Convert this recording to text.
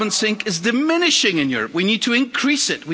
Carbon sink is diminishing in Europe. We need to increase it.